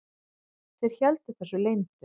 Þeir héldu þessu leyndu.